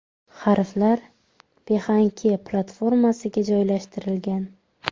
Harflar Behance platformasiga joylashtirilgan.